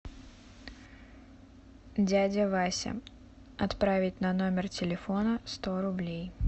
дядя вася отправить на номер телефона сто рублей